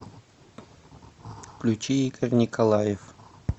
включи игорь николаев